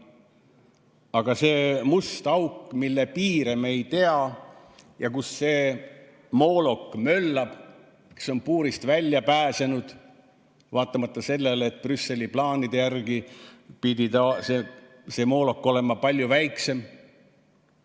Aga selles mustas augus, mille piire me ei tea, möllab see moolok, kes on puurist välja pääsenud, vaatamata sellele, et Brüsseli plaanide järgi pidi see moolok olema palju väiksem.